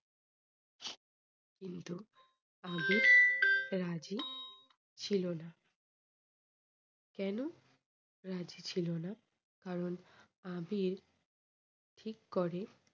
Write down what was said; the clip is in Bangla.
কিন্তু আবির রাজি ছিল না। কেন রাজি ছিল না কারণ আবির ঠিক করে